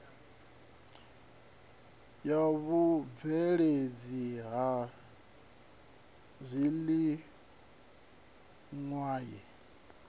ya vhubveledzi ha zwiliṅwa ye